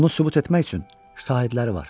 Bunu sübut etmək üçün şahidləri var.